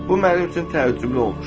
Bu mənim üçün təəccüblü olmuşdu.